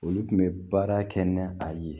Olu kun bɛ baara kɛ ni a ye